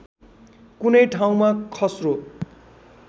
कुनै ठाउँमा खस्रो